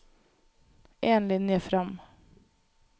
En linje fram